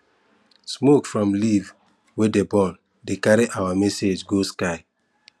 smoke from leaf wey dey burn dey carry our our message go sky